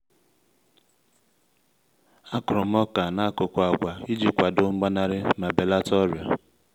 a kụrụ m oka n'akụkụ agwa iji kwado mgbanarị ma belata ọrịa